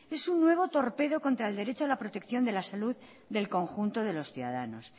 es un nuevo torpedo contra el derecho de la protección de la salud del conjunto de los ciudadanos